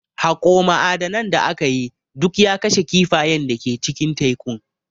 Haƙo ma'adanan da aka yi, duk ya kashe kifayen da ke cikin tekun.